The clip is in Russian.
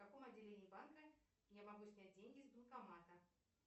в каком отделении банка я могу снять деньги с банкомата